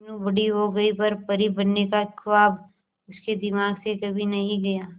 मीनू बड़ी हो गई पर परी बनने का ख्वाब उसके दिमाग से कभी नहीं गया